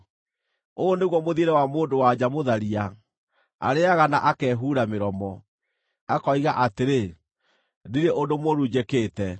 “Ũyũ nĩguo mũthiĩre wa mũndũ-wa-nja mũtharia: Arĩĩaga na akehuura mĩromo, akoiga atĩrĩ, ‘Ndirĩ ũndũ mũũru njĩkĩte.’